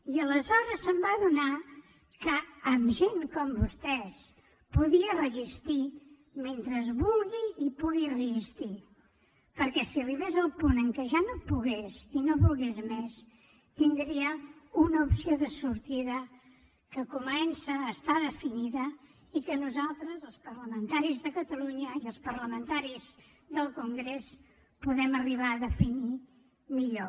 i aleshores es va adonar que amb gent com vostès podia resistir mentre volgués i pogués resistir perquè si arribés al punt en què ja no pogués i no ho volgués més tindria una opció de sortida que comença a estar definida i que nosaltres els parlamentaris de catalunya i els parlamentaris del congrés podem arribar a definir millor